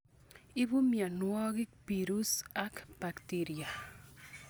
Ibu mionwokik pirus ak bacteria.